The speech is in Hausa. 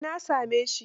Eh, na same shi.